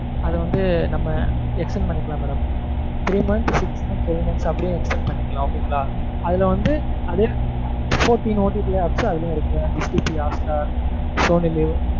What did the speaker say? அதை வந்து நம்ம extent பண்ணிக்கலாம் madam three months six months nine months அப்படி extent பண்ணிக்கலாம் okay ங்களா? அதுல வந்து OTT apps அதுலயே இருக்கு mam Sony live